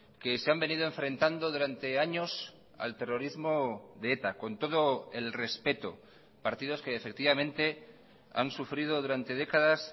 que se han venido enfrentando durante años al terrorismo de eta con todo el respeto partidos que efectivamente han sufrido durante décadas